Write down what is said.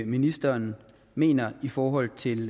ministeren mener i forhold til